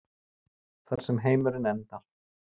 Þar sem heimurinn endar.